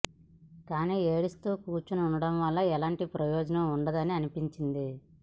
కానీ ఏడుస్తూ కూర్చుని ఉండటం వల్ల ఎలాంటి ప్రయోజనం ఉండదని అనిపించింది